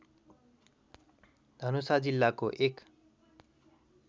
धनुषा जिल्लाको एक